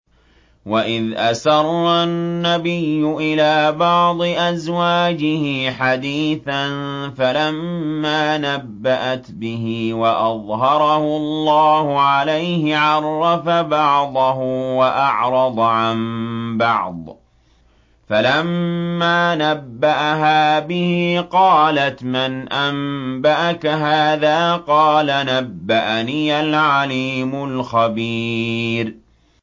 وَإِذْ أَسَرَّ النَّبِيُّ إِلَىٰ بَعْضِ أَزْوَاجِهِ حَدِيثًا فَلَمَّا نَبَّأَتْ بِهِ وَأَظْهَرَهُ اللَّهُ عَلَيْهِ عَرَّفَ بَعْضَهُ وَأَعْرَضَ عَن بَعْضٍ ۖ فَلَمَّا نَبَّأَهَا بِهِ قَالَتْ مَنْ أَنبَأَكَ هَٰذَا ۖ قَالَ نَبَّأَنِيَ الْعَلِيمُ الْخَبِيرُ